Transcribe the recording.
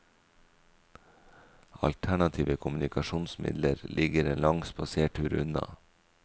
Alternative kommunikasjonsmidler ligger en lang spasertur unna.